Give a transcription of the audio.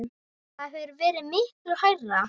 Það hefur verið miklu hærra.